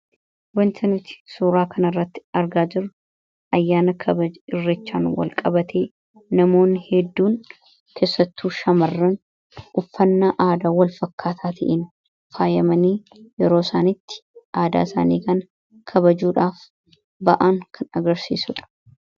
wantanuti suuraa kan irratti argaa jiru ayyaana kabaj irrichaan wal qabatee namoonni hedduun tessattuu shamarran uffannaa aadaa wal fakkaataa ta'iin faayamanii yeroo isaanitti aadaa isaanii kan kabajuudhaaf ba'aan kan agarsiisudha